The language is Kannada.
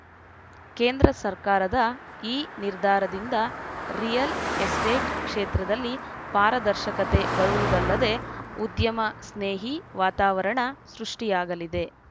ಕೇಂದ್ರ ಸರ್ಕಾರದ ಈ ನಿರ್ಧಾರದಿಂದ ರಿಯಲ್‌ ಎಸ್ಟೇಟ್‌ ಕ್ಷೇತ್ರದಲ್ಲಿ ಪಾರದರ್ಶಕತೆ ಬರುವುದಲ್ಲದೆ ಉದ್ಯಮ ಸ್ನೇಹಿ ವಾತಾವರಣ ಸೃಷ್ಟಿಯಾಗಲಿದೆ